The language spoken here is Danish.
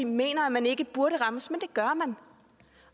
mener at man ikke burde rammes men det gør man